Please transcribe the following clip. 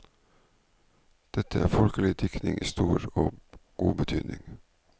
Dette er folkelig diktning i stor og god betydning.